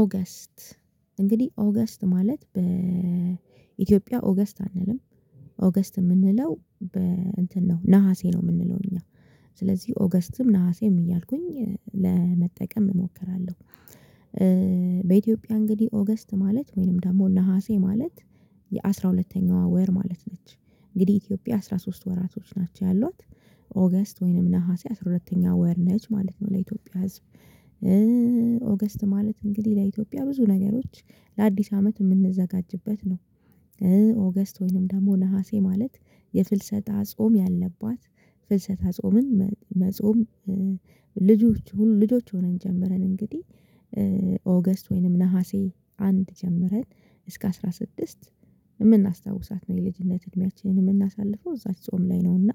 ኦገስት እንግዲህ ኦገስት ማለት በኢትዮጵያ ኦገስት አንልም ኦገስት የምንለው በ እንትን ነው ነሀሴ ነው የምንለው እኛ ስለዚህ ኦገስትም ነሀሴም እያልኩኝ ለመጠቀም እሞክራለሁ በኢትዮጵያ እንግዲህ ኦገስት ማለት ወይንም ደግሞ ነሀሴ ማለት የአሥራ ሁለተኛው ወር ማለት ነች እንግዲህ ኢትዮጵያ አስራ ሶስት ወራቶች ናቸው ያሏት ኦገስት ወይንም ነሀሴ አስራ ሁለተኛ ወር ነች ማለት ነው ለኢትዮጵያ ህዝብ ኦገስት ማለት እንግዲህ ለኢትዮጵያ ብዙ ነገሮች ለአዲስ አመት የምንዘጋጅበት ነው ኦገስት ወይንም ደግሞ ነሀሴ ማለት የፍልሰታ ጾም ያለባት ፍልሰታ ጾምን መጾም ልጆች ልጆች ሆነን ጀምረን እንግዲህ ኦገስት ወይንም ነሀሴ አንድ ጀምረን እስከ አስራ ስድስት የምናስታውሳት ነው የልጅነት እድሜያችንን የምናሳልፈው እዛች ጾም ላይ ነውና